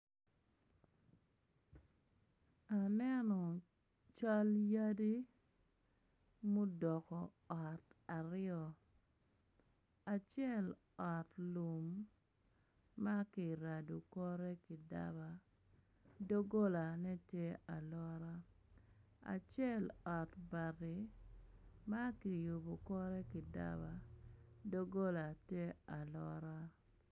Aneno cal yadi mudoko ot aryo acel ot lum ma kirado kore ki daba doggolane tye alora acel ot bati ma kiyubo kore ki daba dogola tye alora.